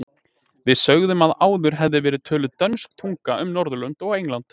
Við sögðum að áður hefði verið töluð dönsk tunga um Norðurlönd og England.